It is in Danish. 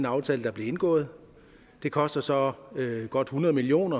aftale der blev indgået det koster så godt hundrede million